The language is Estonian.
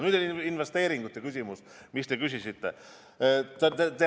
Nüüd investeeringutest, mille kohta te küsisite.